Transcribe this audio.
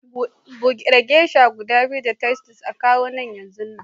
bude geisha guda biyu da Titus a kawo nan yanzunnan